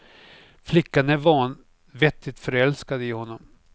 Flickan är vanvettigt förälskad i honom.